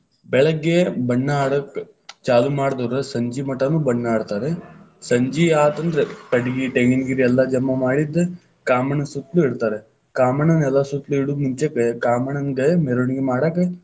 ಬೆಳಗ್ಗೆ ಬಣ್ಣ ಆಡಾಕ ಚಾಲು ಮಾಡದೋರ್ ಸಂಜಿಮಟಾನು ಬಣ್ಣ ಆಡ್ತಾರ, ಸಂಜಿಯಾತಂದ್ರ ಕಟಗಿ, ಟೆಂಗಿನಗರಿ ಎಲ್ಲಾ ಜಮಾ ಮಾಡಿದ್ದ ಕಾಮಣ್ಣ ಸುತ್ತಲೂ ಇಡ್ತಾರ, ಕಾಮಣ್ಣನ ಎಲ್ಲಾ ಸುತ್ತಲೂ ಇಡು ಮುಂಚೆಕ್‌ ಕಾಮಣ್ಣನ್ಡ್ ಮೆರವಣಿಗೆ ಮಾಡಾಕ.